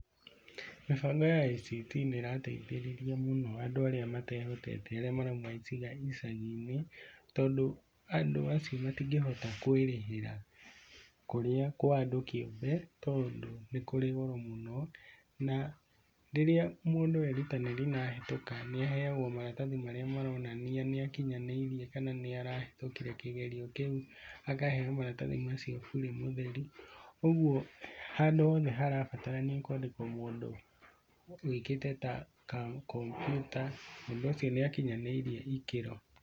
Mĩbango ya ICT nĩ ĩrateithĩrĩria mũno andũ arĩa matehotete arĩa marauma icagi-inĩ, tondũ andũ acio matingĩhota kwĩrĩhĩra kũrĩa kwa andu kĩũmbe tondũ nĩ kũrĩ goro mũno. Na rĩrĩa mũndũ erutanĩria na ahĩtũka nĩ aheoagwo maratathi marĩa maronania nĩakinyanĩirie, kana nĩ arahĩtukire kĩgerio kĩu, akaheo maratathi macio burĩ mũtheri. Ũguo handũ hothe harabatarania kwandĩkwo mũndũ, wĩkĩte ta ka kompiuta, mũndũ ũcio nĩ akinyanĩirie ikĩro.